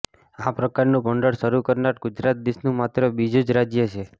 આ પ્રકારનું ભંડોળ શરૂ કરનાર ગુજરાત દેશનું માત્ર બીજું જ રાજ્ય છે